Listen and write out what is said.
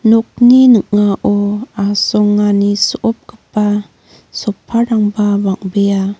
nokni ning·ao asongani so·opgipa sofa-rangba bang·bea.